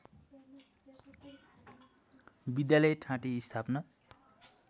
विद्यालय ठाँटी स्थापना